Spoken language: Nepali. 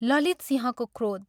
ललितसिंहको क्रोध